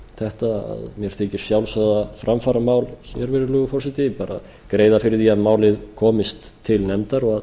þetta sjálfsagða framfaramál virðulegur forseti bara greiða fyrir því að málið komist til nefndar og